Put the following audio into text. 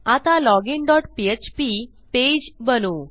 आता login dot PHP page बनवू